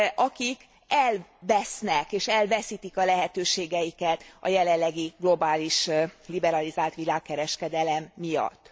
akik elvesznek és elveszítik a lehetőségeiket a jelenlegi globális, liberalizált világkereskedelem miatt?